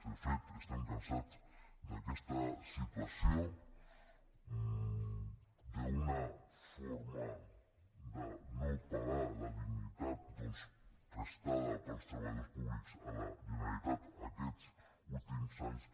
de fet estem cansats d’aquesta situació d’una forma de no pagar la dignitat doncs prestada pels treballadors públics a la generalitat aquests últims anys